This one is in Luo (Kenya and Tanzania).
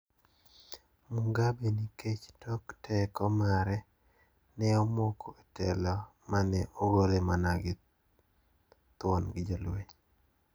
Mugabe nikech tok teko mare ne omoko e telo ma ne ogole mana thuon gi jolweny.